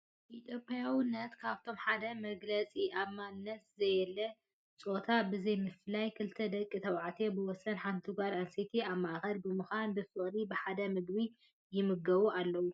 ኢትዮጵያዊነት ካብቶም ሓደ መግለፂኡ ኣብ ማንም ዘየለ ጾታ ብዘይ ምፍልላይ ክልተ ደቂ ተባዕትዮ ብወሰን ሓንቲ ጓል ኣንስተይቲ ኣብ ማእኸል ብምዃን ብፍቕሪ ብሓደ ምግቢ ይምገቡ ኣለዉ።